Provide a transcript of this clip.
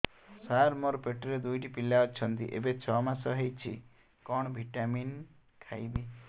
ସାର ମୋର ପେଟରେ ଦୁଇଟି ପିଲା ଅଛନ୍ତି ଏବେ ଛଅ ମାସ ହେଇଛି କଣ ଭିଟାମିନ ଖାଇବି